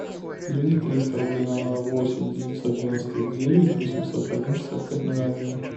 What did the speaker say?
переведи триста рублей на номер восемь девятьсот девяносто девять восемьсот один шестьдесят пять ноль один